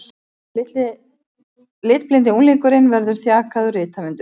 Litblindi unglingurinn verður þjakaður rithöfundur